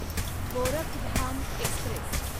Gorakhdham Express